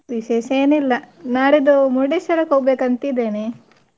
ವಿಶೇಷ ಏನಿಲ್ಲಾ ನಾಡಿದ್ದು Murdeshwar ಕ್ ಹೊಗ್ಬೇಕಂತ ಇದೇನೆ.